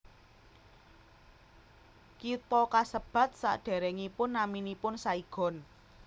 Kitha kasebat sadèrèngipun naminipun Saigon